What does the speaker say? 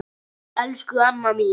Elsku Anna mín.